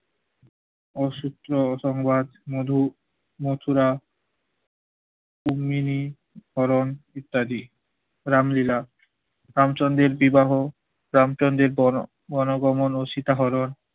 অসহ্য সংবাদ মধু মচুরা, উম্মিলি তরন ইত্যাদি। রামলীলা রামচন্দ্রের বিবাহ রামচন্দ্রের বন~ বনভবন ও সীতা হরণ,